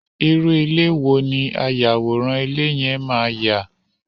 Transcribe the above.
irú ilé wo ni ayàwòrán ilé yẹn máa yà?